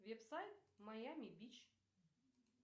веб сайт майами бич